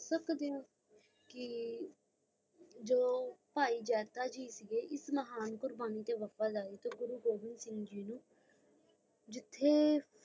ਸਕਦੇ ਹੋ ਕ ਜੋ ਭਾਈ ਜਾਤਾ ਜੀ ਸੀ ਇਸ ਮਹਾਨ ਕੁਰਬਾਨੀ ਤੇ ਵਫ਼ਾਦਾਰੀ ਤੇ ਗੁਰੂ ਗੋਬਿੰ ਸਿੰਘ ਜੀ ਨੂੰ ਜਿਥੇ